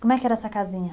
Como é que era essa casinha?